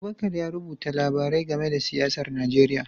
Abubakar ya rubuta labarai game da siyasar Najeriya